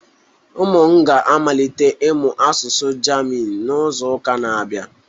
Ụmụ m ga-amalite ịmụ asụsụ German n'izu ụka na-abịa